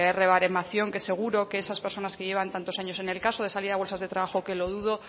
rebaremación que seguro que esas personas que llevan tantos años en el caso de salir a bolsas de trabajo que lo dudo